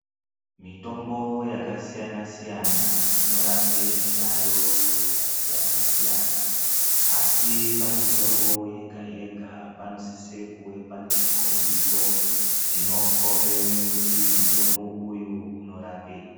Mitombo yakasiyana siyana inorape zviyaiyo zvakasiyana siyana asi pamitombo yega yega panosisa kuve pane chikhombiso chinokhomba kuti mutombo uyu unorapei.